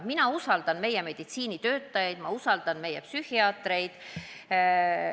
Mina usaldan meie meditsiinitöötajaid, ma usaldan meie psühhiaatreid.